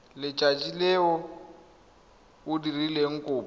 letsatsi le o dirileng kopo